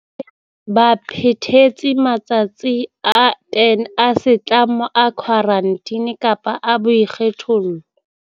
Ba phethetse matsatsi a 10 a setlamo a khwarantine kapa a boikgethollo.